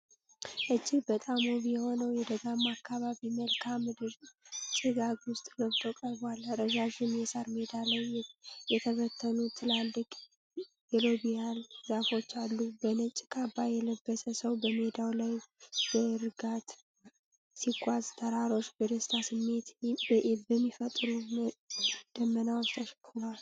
እጅግ በጣም ውብ የሆነው የደጋማ አካባቢ መልክዓ ምድር ጭጋግ ውስጥ ገብቶ ቀርቧል። ረዣዥም የሣር ሜዳ ላይ የተበተኑ ትላልቅ የሎቤልያ ዛፎች አሉ። በነጭ ካባ የለበሰ ሰው በሜዳው ላይ በእርጋታ ሲጓዝ፣ ተራሮች በደስታ ስሜት በሚፈጥሩ ደመናዎች ተሸፍነዋል።